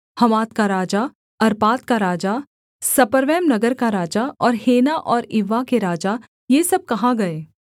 हमात का राजा अर्पाद का राजा सपर्वैम नगर का राजा और हेना और इव्वा के राजा ये सब कहाँ गए